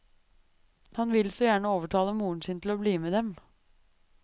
Han vil så gjerne overtale moren sin til å bli med dem.